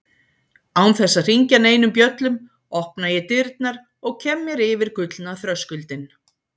Án þess að hringja neinum bjöllum opna ég dyrnar og kem mér yfir gullna þröskuldinn.